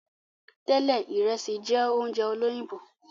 Tẹlẹ, Ìresì jẹ oúnjẹ olóyìnbó